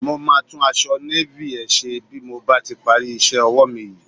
Mo máa tún aṣọ Navy ẹ ṣe bí mo bá ti parí iṣẹ́ ọwọ́ mi yìí.